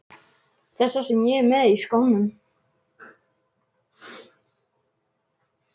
Þessa sem ég er með í skónum.